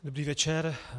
Dobrý večer.